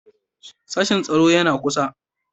Sashen tsaro yana kusa.